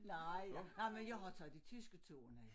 Nej nej men jeg har taget de tyske ture med